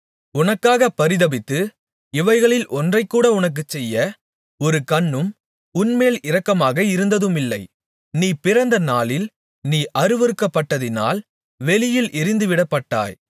உனக்காகப் பரிதபித்து இவைகளில் ஒன்றைகூட உனக்குச் செய்ய ஒரு கண்ணும் உன்மேல் இரக்கமாக இருந்ததுமில்லை நீ பிறந்த நாளில் நீ அருவருக்கப்பட்டதினால் வெளியில் எறிந்துவிடப்பட்டாய்